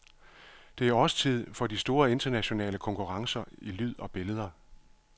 Det er årstid for de store internationale konkurrencer i lyd og billeder.